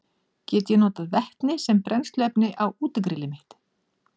Get ég notað vetni sem brennsluefni á útigrillið mitt?